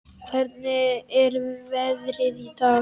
Hvernig er veðrið í dag?